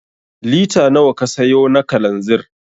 Lita nawa ka sayo na kalanzir?